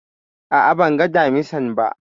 A'a, ban ga Damisan ba